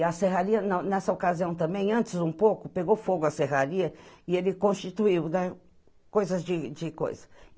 E a serraria, na nessa ocasião também, antes um pouco, pegou fogo a serraria e ele constituiu né, coisas de de coisa.